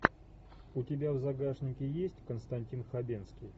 у тебя в загашнике есть константин хабенский